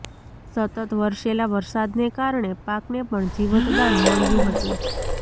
સતત વરસેલા વરસાદને કારણે પાકને પણ જીવતદાન મળ્યું હતું